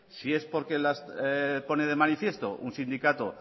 si es porque las pone de manifiesto un sindicato